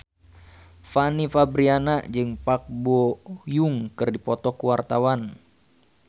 Fanny Fabriana jeung Park Bo Yung keur dipoto ku wartawan